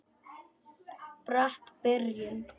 Brött byrjun.